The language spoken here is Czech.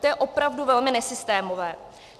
To je opravdu velmi nesystémové.